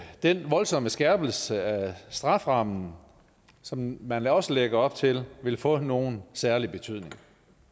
den voldsomme skærpelse af strafferammen som man også lægger op til vil få nogen særlig betydning